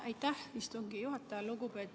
Aitäh, istungi juhataja!